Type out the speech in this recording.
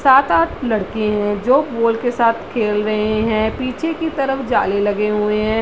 सात-आठ लड़के है जो बॉल के साथ खेल रहे है पीछे की तरफ जाले लगे हुए है ।